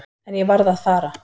En ég varð að fara.